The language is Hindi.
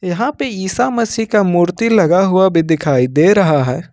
यहां पर ईसा मसीह का मूर्ति लगा हुआ भी दिखाई दे रहा है।